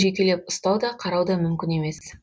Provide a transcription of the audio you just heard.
жекелеп ұстау да қарау да мүмкін емес